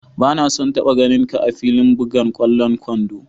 Ba na son taba ganin ka'a filin bugan kwallon kwando!